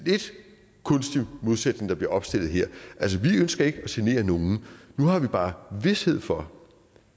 kunstig modsætning der bliver opstillet her altså vi ønsker ikke at genere nogen nu har vi bare vished for